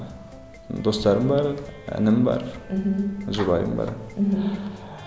достарым бар інім бар мхм жұбайым бар мхм